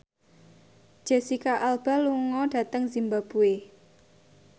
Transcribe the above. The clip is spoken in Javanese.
Jesicca Alba lunga dhateng zimbabwe